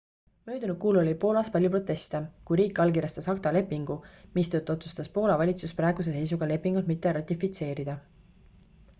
möödunud kuul oli poolas palju proteste kui riik allkirjastas acta lepingu mistõttu otsustas poola valitsus praeguse seisuga lepingut mitte ratifitseerida